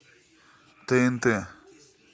тнт